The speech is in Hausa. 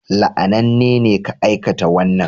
La'ananne ne ka aikata wannan